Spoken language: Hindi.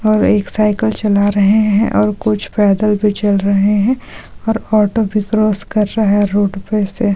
एक साइकल चला रहे हैं और कुछ पैदल भी चल रहे हैं और ऑटो भी क्रॉस कर रहे है रोड पे से---